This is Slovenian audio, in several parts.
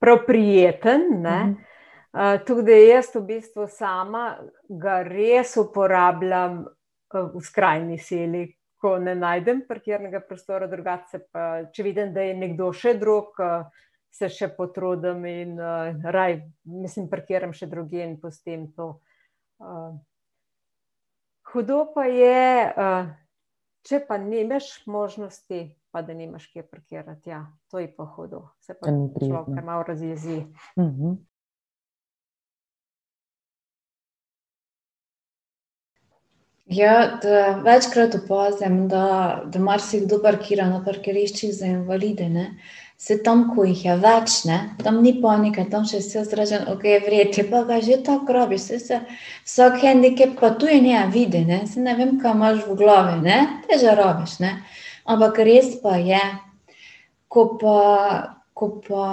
prav prijeten, ne, tako da jaz v bistvu sama ga res uporabljam, v skrajni sili, ko ne najdem parkirnega prostora, drugače se pa, če vidim, da je nekdo še drug, se še potrudim in raje, mislim, parkiram še drugje in pustim to, Hudo pa je, če pa nimaš možnosti, pa da nimaš kje parkirati, ja, to je pa hudo. To ni prijetno. Mhm. Se pa človek kar malo razjezi. Ja, večkrat opazim, da, da marsikdo parkira na parkiriščih za invalide, ne. Se tam, ko jih je več, ne, tam ni panike, tam si še jaz rečem: "Okej, v redu, če pa ga že tako rabiš." Saj se vsak vidi, ne, saj ne vem, kaj imaš v glavi, ne, te že rabiš, ne, ampak res pa je, ko pa, ko pa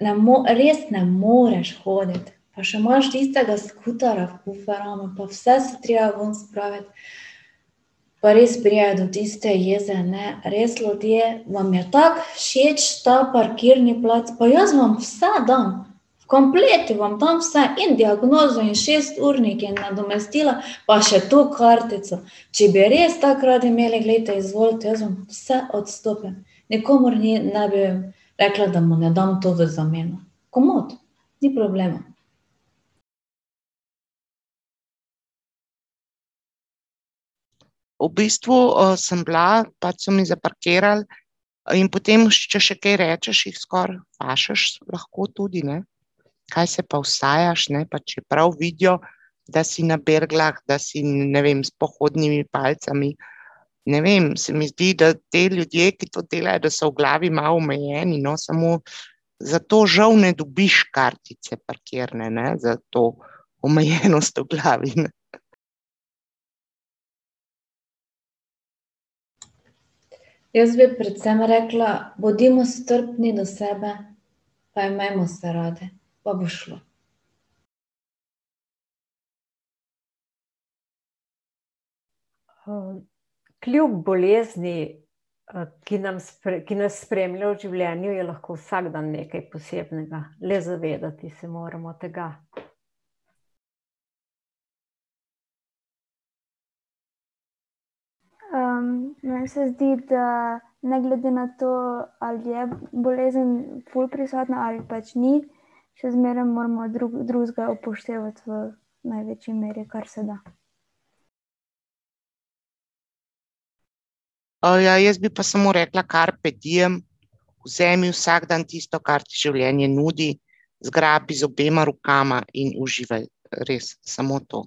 ne res ne moreš hoditi, pa še imaš tistega skuterja v kuferravmu pa vse se treba ven spraviti, pa res pride do tiste jeze, ne, res ljudje, vam je tako všeč ta parkirni plac, pa jaz vam vse dam, v kompletu vam dam vse in diagnozo in šesturnik in nadomestila pa še to kartico. Če bi res tako radi imeli, glejte, izvolite, jaz vam vse odstopim. Nikomur ni ne bi rekla, da mu ne dam to v zameno. Komot, ni problema. V bistvu, sem bila pač so mi zaparkirali in potem, če še kaj rečeš, jih skoraj fašeš lahko tudi, ne. Kaj se pa usajaš, ne, pa čeprav vidijo, da si na berglah, da si, ne vem, s pohodnimi palicami. Ne vem, se mi zdi, da ti ljudje, ki to delajo, da so v glavi malo omejeni, no, samo zato žal ne dobiš kartice parkirne, ne, za to omejenost v glavi. Jaz bi predvsem rekla, bodimo strpni do sebe pa imejmo se radi pa bo šlo. kljub bolezni, ki nam ki nas spremlja v življenju, je lahko vsak dan nekaj posebnega, le zavedati se moramo tega. meni se zdi, da ne glede na to, ali je bolezen ful prisotna ali pač ni, še zmeraj moramo drug drugega upoštevati v največji meri, kar se da. ja jaz bi pa samo rekla: carpe diem. Vzemi vsak dan tisto, kar ti življenje nudi, zgrabi z obema rokama in uživaj res samo to.